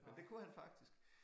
Men det kunne han faktisk